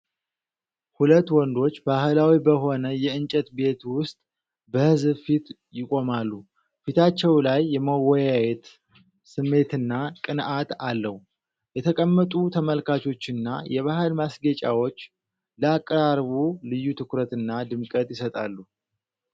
ሁለት ወንዶች ባህላዊ በሆነ የእንጨት ቤት ውስጥ በሕዝብ ፊት ይቆማሉ፤ ፊታቸው ላይ የመወያየት ስሜትና ቅንዓት አለው። የተቀመጡ ተመልካቾችና የባህል ማስጌጫዎች ለአቀራረቡ ልዩ ትኩረትና ድምቀት ይሰጣሉ።